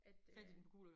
At øh